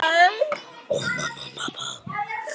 Og mömmu og pabba.